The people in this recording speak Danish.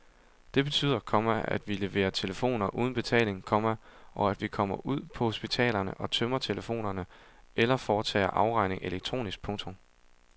Det betyder, komma at vi leverer telefonen uden betaling, komma og at vi kommer ud på hospitalerne og tømmer telefonerne eller foretager afregning elektronisk. punktum